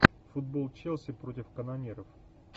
футбол челси против канониров